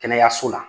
Kɛnɛyaso la